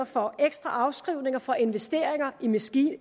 for ekstra afskrivninger for investeringer i maskiner og